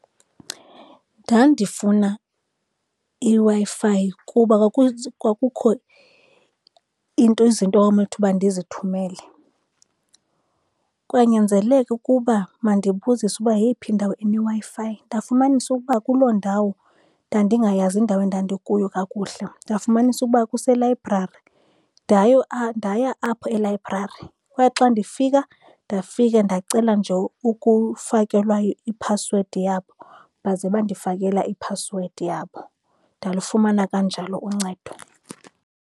Ndandifuna iWi-Fi kuba kwakukho izinto ekwakunowuthi ukuba ndizithumele. Kwanyanzeleka ukuba mandibuzise uba yeyiphi indawo eneWi-Fi. Ndafumanisa ukuba kuloo ndawo ndandingayazi indawo endandikuyo kakuhle, ndafumanisa ukuba kuselayibrari. Ndayo ndaya apho elayibrari, kwaye xa ndifika ndafika ndacela nje ukufakelwa iphasiwedi yabo, baze bandifakela iphasiwedi yabo. Ndalufumana kanjalo uncedo.